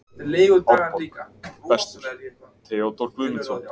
Árborg: Bestur: Theodór Guðmundsson.